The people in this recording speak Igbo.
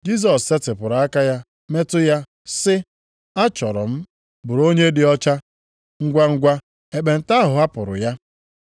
Jisọs setịpụrụ aka ya metụ ya sị, “Achọrọ m, bụrụ onye dị ọcha!” Ngwangwa ekpenta ahụ hapụrụ ya.